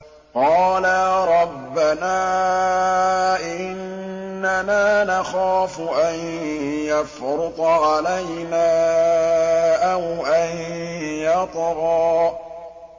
قَالَا رَبَّنَا إِنَّنَا نَخَافُ أَن يَفْرُطَ عَلَيْنَا أَوْ أَن يَطْغَىٰ